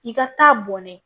I ka taa bɔn nɛ